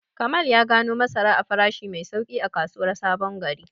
Kamal ya gano masara a farashi mai sauƙi a kasuwar Sabon Gari.